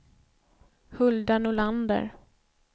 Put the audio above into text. Hulda Nordlander